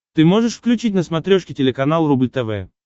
ты можешь включить на смотрешке телеканал рубль тв